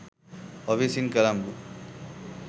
offices in colombo